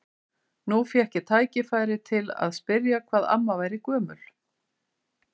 Nú fékk ég tækifæri til að spyrja hvað amma væri gömul.